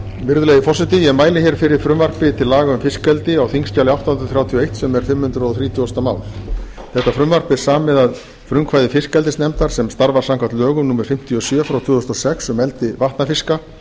virðulegi forseti ég mæli hér fyrir frumvarpi til laga um fiskeldi á þingskjali átta hundruð þrjátíu og eitt sem er fimm hundruð þrítugustu mál þetta frumvarp er samið að frumkvæði fiskeldisnefndar sem starfar samkvæmt lögum númer fimmtíu og sjö tvö þúsund og sex um eldi vatnafiska